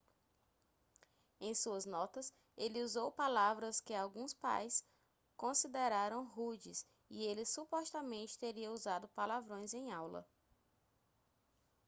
em suas notas ele usou palavras que alguns pais consideraram rudes e ele supostamente teria usado palavrões em aula